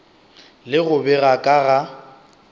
le go bega ka ga